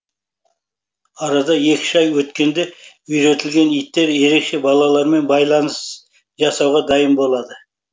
арада екі үш ай өткенде үйретілген иттер ерекше балалармен байланыс жасауға дайын болады